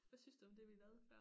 Hvad synes du om det vi lavede før?